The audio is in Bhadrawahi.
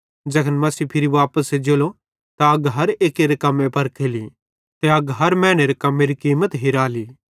ज़ैखन मसीह फिरी वापस एज्जेलो त अग हर एक्केरे कम्मे परखेली ते अग हर मैनेरे कम्मेरी कीमत हिराली